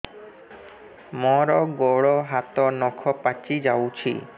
ମୋର ଗୋଡ଼ ହାତ ନଖ ପାଚି ଯାଉଛି